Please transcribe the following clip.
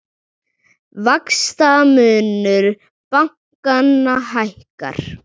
Vaxtamunur bankanna hækkar